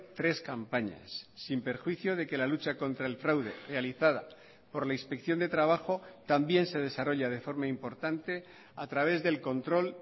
tres campañas sin perjuicio de que la lucha contra el fraude realizada por la inspección de trabajo también se desarrolla de forma importante a través del control